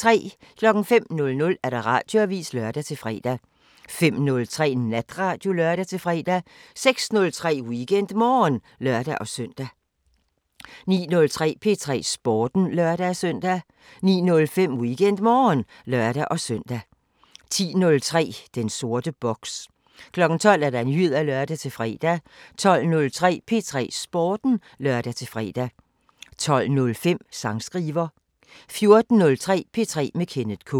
05:00: Radioavisen (lør-fre) 05:03: Natradio (lør-fre) 06:03: WeekendMorgen (lør-søn) 09:03: P3 Sporten (lør-søn) 09:05: WeekendMorgen (lør-søn) 10:03: Den sorte boks 12:00: Nyheder (lør-fre) 12:03: P3 Sporten (lør-fre) 12:05: Sangskriver 14:03: P3 med Kenneth K